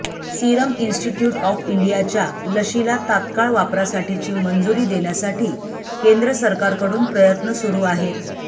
serum institute of इंडियाच्या लशीला तात्काळ वापरासाठीची मंजुरी देण्यासाठी केंद्र सरकारकडून प्रयत्न सुरू आहेत